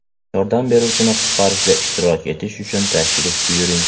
Yordam beruvchini qutqarishda ishtirok etish uchun tashrif buyuring!